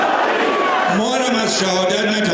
Biz şəhadətdən qorxmuruq.